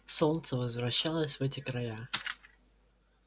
солнце возвращалось в эти края